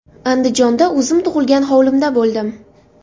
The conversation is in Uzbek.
Andijonda o‘zim tug‘ilgan hovlimda bo‘ldim.